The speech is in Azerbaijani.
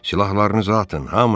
Silahlarınızı atın, hamınız!